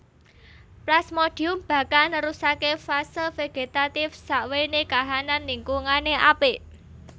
Plasmodium bakal nerusaké fase vegetatif sakwéné kahanan lingkungané apik